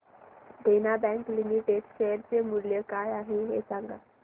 देना bank limited share चे मूल्य काय आहे हे सांगा